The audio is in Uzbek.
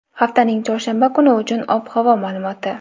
haftaning chorshanba kuni uchun ob-havo ma’lumoti.